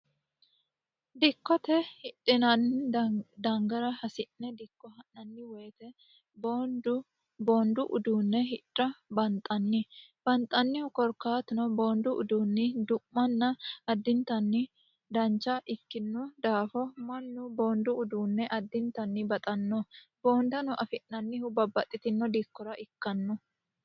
dikkote hidhinanni dangara hasi'ne dikko ha'nanni woyite boondu uduunne hidha banxanni banxannihu korkaatino boondu uduunni du'manna addintanni dancha ikkino daafo mannu boondu uduunne addintanni baxanno boondano afi'nannihu babbaxxitino diikkora ikkanno.